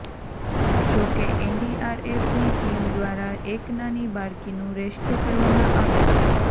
જો કે એનડીઆરએફની ટીમ દ્વારા એક નાની બાળકીનું રેસ્કયું કરવામાં આવ્યું